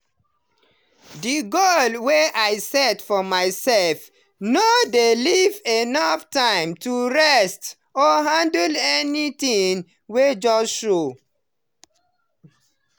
the goals wey i set for myself no dey leave enough time to rest or handle anything wey just show.